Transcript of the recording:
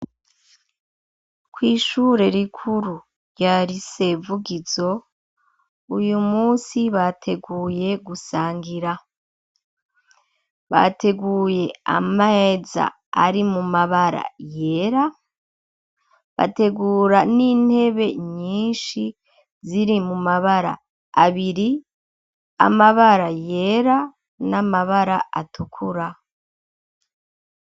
Kw’ishure rikuru rya rya lycce Vugizo uyu munsi bateguye gusangira bateguye ama meza ari mu mabara yera bategura n'intebe nyishi ziri mu mabara abiri amabara, yera n'amabara atukura.